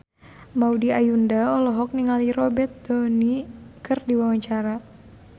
Maudy Ayunda olohok ningali Robert Downey keur diwawancara